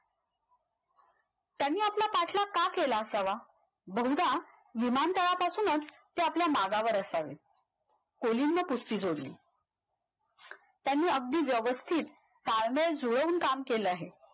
त्यानी आपला पाठलाग का केला असावा बहुदा विमानतळापासूनच ते आपल्या मागावर असावे कोलीनला त्यानी अगदी व्यवस्थित ताळमेळ जूळवून काम केले आहे.